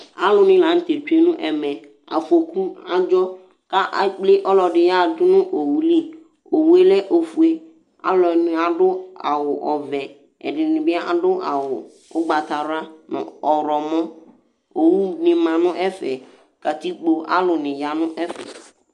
alʊ nɩ la dʊ ɛmɛ afokʊ adjɔ ekple ɔlʊyɛ dʊnʊ oɣʊlɩ ɔlɛ ɔfʊe alʊnɩ adʊ awʊ ɔʋɛ ɛdɩnɩ bɩ adʊ awʊ ʊgbata wla nʊ ɔwlɔ wʊlʊ ʋɩ sʊ owʊ owʊ nɩ ma nʊ ɛfɛ kʊ alʊnɩ yanʊ ɛfɛ